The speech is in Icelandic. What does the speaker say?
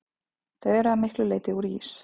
Þau eru að miklu leyti úr ís.